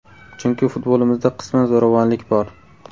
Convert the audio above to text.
Chunki futbolimizda qisman zo‘ravonlik bor.